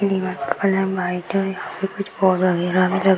दीवार का colour white है और यहाँ पे कुछ और वगैरा भी लगे --